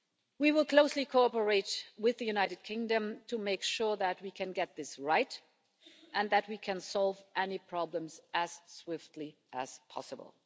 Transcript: We will closely cooperate with the United Kingdom to make sure that we can get this right and that we can solve any problems as swiftly as possible.